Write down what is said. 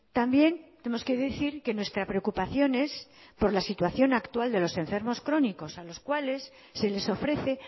también tenemos que decir que nuestra preocupación es por la situación actual de los enfermos crónicos a los cuales se les ofrece